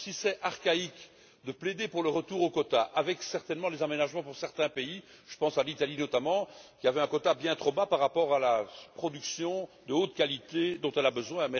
Cela peut sembler archaïque de plaider pour le retour aux quotas, avec bien sûr des aménagements pour certains pays je pense à l'Italie, notamment, qui avait un quota bien trop bas par rapport à la production de haute qualité dont elle a besoin.